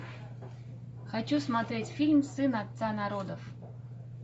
хочу смотреть фильм сын отца народов